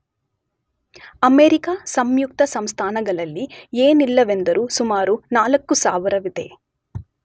America ಸಂಯುಕ್ತ ಸಂಸ್ಥಾನಗಳಲ್ಲಿ ಏನಿಲ್ಲವೆಂದರೂ ಸುಮಾರು ೪೦೦೦ ವಿದೆ